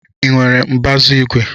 Ị nwere mbazu igwe?